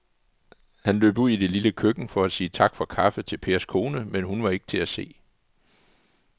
Han løb ud i det lille køkken for at sige tak for kaffe til Pers kone, men hun var ikke til at se.